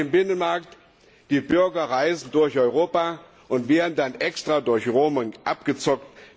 Wir haben den Binnenmarkt, die Bürger reisen durch Europa und werden dann extra durch Roaming abgezockt.